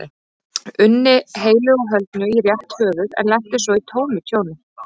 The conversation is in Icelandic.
unni heilu og höldnu í rétt höfuð en lenti svo í tómu tjóni.